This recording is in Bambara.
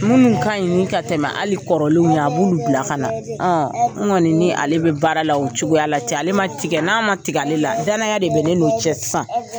Munnu kaɲi ni ka tɛmɛ hali kɔrɔlenw ɲe, a b'olu bila ka na n kɔni ni ale bɛ baara la, o cogoya la, cɛ ale ma tigɛ n na, n ma tigɛ ale la, dayana de bɛ ne n'o cɛ sisan.